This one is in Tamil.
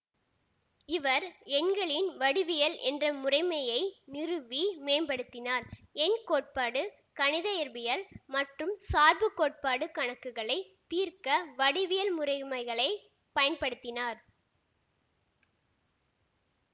இவர் எண்களின் வடிவியல் என்ற முறைமையை நிறுவி மேம்படுத்தினார் எண் கோட்பாடு கணித இயற்பியல் மற்றும் சார்பு கோட்பாடு கணக்குகளை தீர்க்க வடிவியல் முறைமைகளை பயன்படுத்தினார்